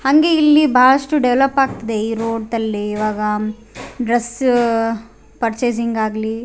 ಹಂಗೆ ಇಲ್ಲಿ ಬಹಳಷ್ಟು ಡೆವೆಲೊಪ್ ಆಗ್ತಿದೆ ಈ ರೋಡ್ತಲ್ಲಿ ಇವಾಗ ಡ್ರೆಸ್ ಪರ್ಚೆಸಿಂಗ್ ಆಗ್ಲಿ --